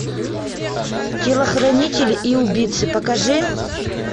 телохранитель и убийцы покажи